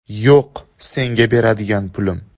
Yo‘q, senga beradigan pulim’.